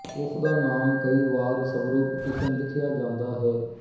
ਉਸਦਾ ਨਾਮ ਕਈ ਵਾਰ ਸਵਰੂਪ ਕਿਸ਼ਨ ਲਿਖਿਆ ਜਾਂਦਾ ਹੈ